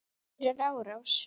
Fyrir árás?